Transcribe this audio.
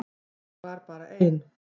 Ég var bara ein.